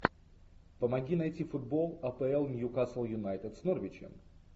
помоги найти футбол апл ньюкасл юнайтед с норвичем